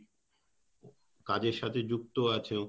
কাজের সাথে যুক্ত আছো